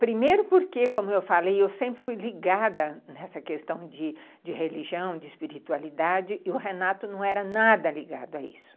Primeiro porque, como eu falei, eu sempre fui ligada nessa questão de de religião, de espiritualidade, e o Renato não era nada ligado a isso.